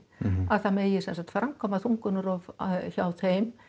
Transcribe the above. að það megi framkvæma þungunarrof hjá þeim